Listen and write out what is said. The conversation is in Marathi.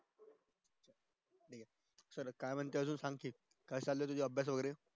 काय म्हणशील अजून सांगशील काय चालाय अजून अभ्यास वैगेरे